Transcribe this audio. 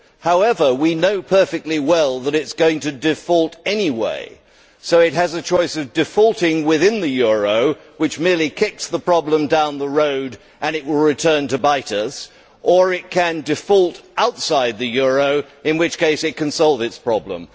However, we know perfectly well that it is going to default anyway, so it has a choice of defaulting within the euro which merely kicks the problem down the road and it will return to bite us, or it can default outside the euro, in which case it can solve its problem.